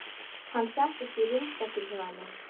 Hann settist á rúmstokkinn hjá henni.